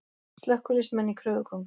Slökkviliðsmenn í kröfugöngu